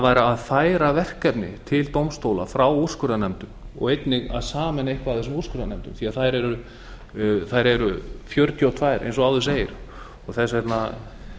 væri að færa verkefni til dómstóla frá úrskurðarnefndum og einnig að sameina eitthvað af þessum úrskurðarnefndum því að þær eru fjörutíu og tvö eins og áður segir þess vegna